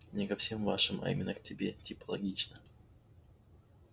не ко всем вашим а именно к тебе типа лично